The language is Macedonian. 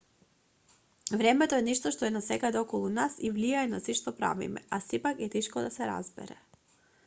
времето е нешто што е насекаде околу нас и влијае на сѐ што правиме а сепак е тешко да се разбере